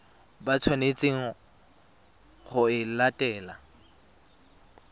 ba tshwanetseng go e latela